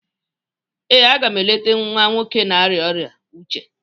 ee, a ga m eleta nwa nwoke na-arịa ọrịa uche